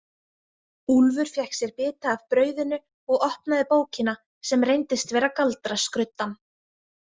Úlfur fékk sér bita af brauðinu og opnaði bókina sem reyndist vera galdraskruddan.